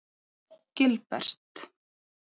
Gilbert